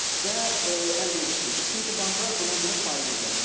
Və əlverişlidir, çünki banklar buna görə faiz ödənilir.